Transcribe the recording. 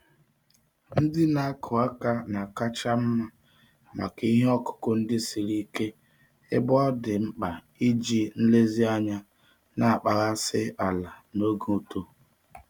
Ndị na-akụ aka na-akacha mma maka ihe ọkụkụ ndị siri ike ebe ọ dị mkpa iji nlezianya na-akpaghasị ala n'oge uto.